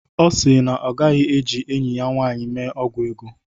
Ọ si na ọ gaghi-eji enyi ya nwanyị mee ọgwụ ego.